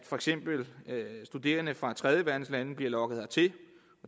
for eksempel bliver studerende fra tredjeverdenslande lokket hertil